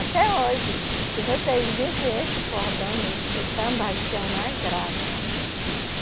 Até hoje, se vocês vissem esse cordão no, do Tambaqui, é uma graça.